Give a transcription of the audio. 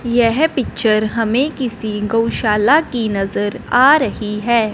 यह पिक्चर हमें किसी गौशाला की नजर आ रही है।